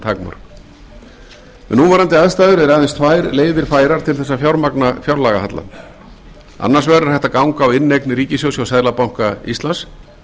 takmörk við núverandi aðstæður eru aðeins tvær leiðir færar til að fjármagna fjárlagahallann annars vegar er hægt að ganga á inneignir ríkissjóðs hjá seðlabanka íslands